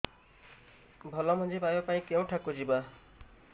ଭଲ ମଞ୍ଜି ପାଇବା ପାଇଁ କେଉଁଠାକୁ ଯିବା